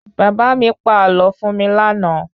Bàbá mi pa àlọ fún mi lànà